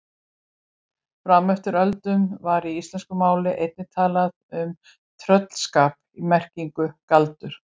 Fram eftir öldum var í íslensku máli einnig talað um tröllskap í merkingunni galdur.